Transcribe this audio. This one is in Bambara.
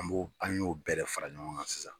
An b'o an y'o bɛɛ de fara ɲɔgɔn kan sisan